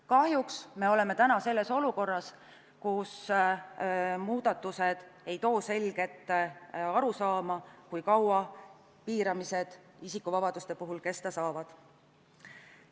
Kahjuks me oleme praegu olukorras, kus muudatused ei too selget arusaama, kui kaua isikuvabaduste piiramine kesta saab.